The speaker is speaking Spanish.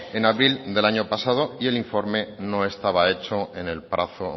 en abril del año pasado y el informe no estaba hecho en el plazo